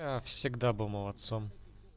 я всегда была молодцом